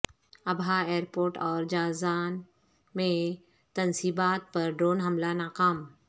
Abha airport اور Jazan میں تنصیبات پر ڈرون حملہ ناکام